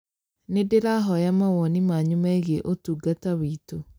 Nĩ ndĩrahoya mawoni manyu megiĩ ũtungata wĩtũ